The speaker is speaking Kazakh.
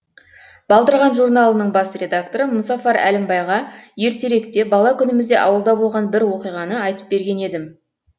балдырған журналының бас редакторы мұзафар әлімбайға ертеректе бала күнімізде ауылда болған бір оқиғаны айтып берген едім